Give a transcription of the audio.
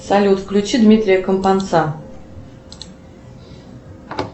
салют включи дмитрия компанца